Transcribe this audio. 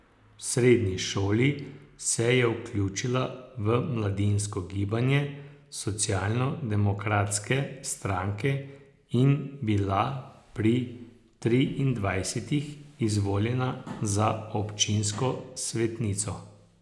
V srednji šoli se je vključila v mladinsko gibanje socialno demokratske stranke in bila pri triindvajsetih izvoljena za občinsko svetnico.